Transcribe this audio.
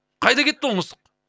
қайда кетті ол мысық